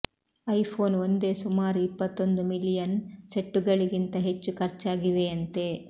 I phone ಒಂದೇ ಸುಮಾರು ಇಪತ್ತೊಂದು ಮಿಲಿಯನ್ ಸೆಟ್ಟುಗಳಿಗಿಂತ ಹೆಚ್ಚು ಖರ್ಚಾಗಿವೆಯಂತೆ